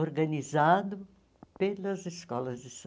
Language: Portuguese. organizado pelas escolas de